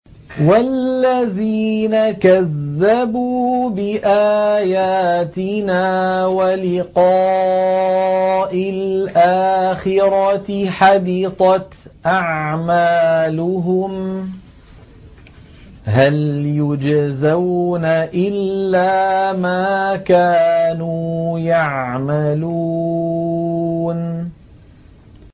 وَالَّذِينَ كَذَّبُوا بِآيَاتِنَا وَلِقَاءِ الْآخِرَةِ حَبِطَتْ أَعْمَالُهُمْ ۚ هَلْ يُجْزَوْنَ إِلَّا مَا كَانُوا يَعْمَلُونَ